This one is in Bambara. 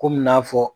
Komi n y'a fɔ